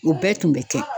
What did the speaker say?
O bɛɛ tun bɛ kɛ